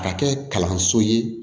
A ka kɛ kalanso ye